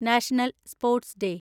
national sports day